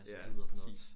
Ja præcis